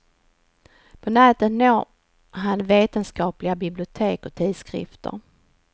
På nätet når han vetenskapliga bibliotek och tidskrifter.